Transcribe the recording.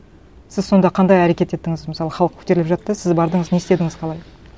сіз сонда қандай әрекет еттіңіз мысалы халық көтеріліп жатты сіз бардыңыз не істедіңіз қалай